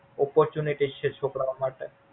Operatunity છે છોકરાઓ માટે.